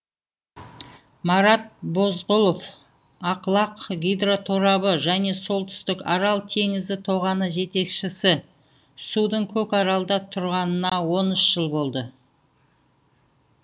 марат бозғұлов ақлақ гидроторабы және солтүстік арал теңізі тоғаны жетекшісі судың көкаралда тұрғанына он үш жыл болды